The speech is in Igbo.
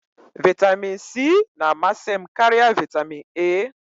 Vitamin C na-amasị m karịa vitamin A.